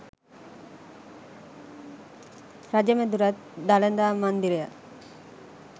රජ මැදුරත් දළදා මන්දිරයත්